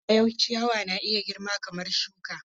Har ila yau, ciyawa na iya girma kamar shuka.